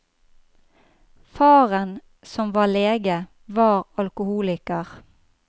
Faren, som var lege, var alkoholiker.